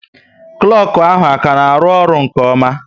Klọku ahụ ọ ka na arụ-ọrụ nke oma?